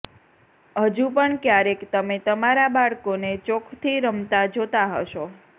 હજુ પણ ક્યારેક તમે તમારા બાળકોને ચોકથી રમતા જોતાં હશો